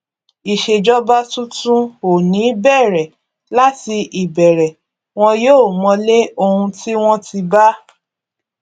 ìṣèjọba tuntun ò ní bẹrẹ láti ìbẹrẹ wọn yóò mọlé ohun tí wọn ti bá